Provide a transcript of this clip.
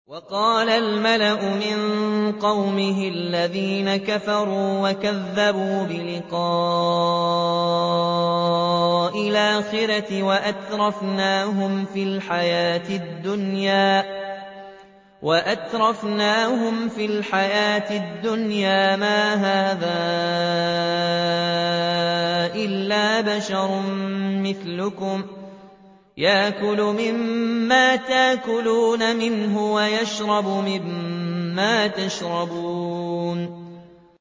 وَقَالَ الْمَلَأُ مِن قَوْمِهِ الَّذِينَ كَفَرُوا وَكَذَّبُوا بِلِقَاءِ الْآخِرَةِ وَأَتْرَفْنَاهُمْ فِي الْحَيَاةِ الدُّنْيَا مَا هَٰذَا إِلَّا بَشَرٌ مِّثْلُكُمْ يَأْكُلُ مِمَّا تَأْكُلُونَ مِنْهُ وَيَشْرَبُ مِمَّا تَشْرَبُونَ